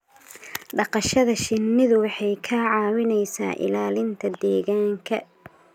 dhaqashada shinnidu waxay ka caawisaa ilaalinta deegaanka.